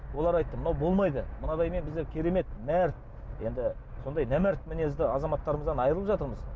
олар айтты мынау болмайды мынадаймен біздер керемет мәрт енді сондай нәмәрт мінезді азаматтарымыздан айырылып жатырмыз